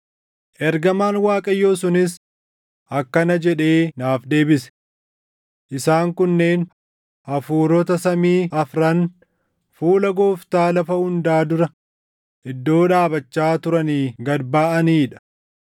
Ergamaan Waaqayyoo sunis akkana jedhee naaf deebise; “Isaan kunneen hafuurota samii afran fuula Gooftaa lafa hundaa dura iddoo dhaabachaa turanii gad baʼanii dha.